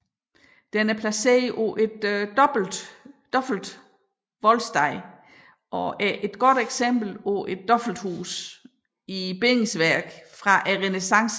Den er placeret på et dobbelt voldsted og er et godt eksempel på et dobbelthus i bindingsværk fra renæssancen